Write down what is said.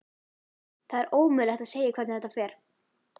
Það er ómögulegt að segja hvernig þetta fer.